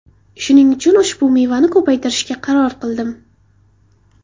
Shuning uchun ushbu mevani ko‘paytirishga qaror qildim.